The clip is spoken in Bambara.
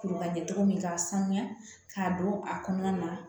Kuru ka di cogo min k'a sanuya k'a don a kɔnɔna na